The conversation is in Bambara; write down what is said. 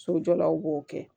Sojɔlaw b'o kɛ